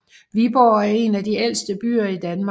Viborg er en af de ældste byer i Danmark